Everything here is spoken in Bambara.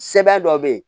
Sɛbɛn dɔ be yen